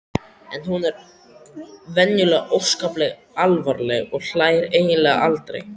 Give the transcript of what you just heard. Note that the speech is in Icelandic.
En hún er venjulega óskaplega alvarleg og hlær eiginlega aldrei.